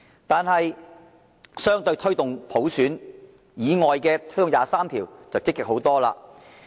但是，對於推動第二十三條立法，政府便積極很多。